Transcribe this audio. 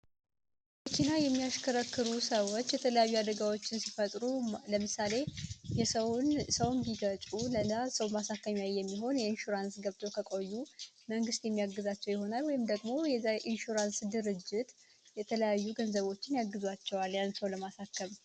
የሚያሽከረከሩ ሰዎች የተለያዩ አደጋዎች ሲፈጥሩ ለምሳሌ የሰውን ሰው ማሳከኝ የሚሆን የእንሹራንስ ገብቶ ከቆዩ መንግስት የሚያግዛቸው ይሆናል ወይም ደግሞ ኢንሹራንስ ድርጅት የተለያዩ ገንዘቦችን ያግዙዋል ሰው ለማሳከም